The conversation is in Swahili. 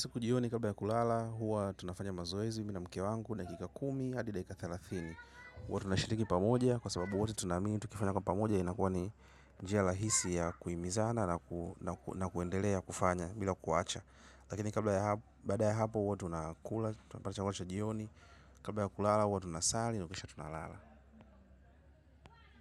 Jioni kabla ya kulala huwa tunafanya mazoezi mimi na mke wangu dakika kumi hadi dakika thelathini. Huwa tunashiriki pamoja, kwa sababu wote tunaamini, tukifanya kwa pamoja, inakuwa ni njia lahisi ya kuimizana na kuendelea kufanya, bila kuwacha. Lakini kabla ya hapo baada ya hapo huwa tunakula tunapata chakula cha jioni kabla ya kulala huwa tunasali na kisha kulala.